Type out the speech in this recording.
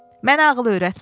Mənə ağıl öyrətmə.